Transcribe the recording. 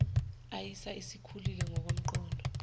aisa isikhulile ngokomnqondo